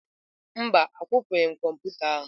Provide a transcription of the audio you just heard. Mba, akwụpụghị m kọmputa ahụ.